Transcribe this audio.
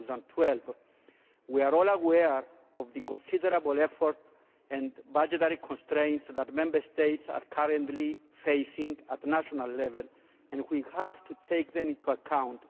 2012. We are all aware of the considerable effort and budgetary constraints that Member States are currently facing at national level, and we have to take these into account.